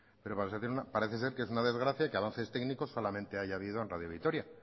pero parece ser que es una desgracia que avances técnicos solamente haya habido en radio vitoria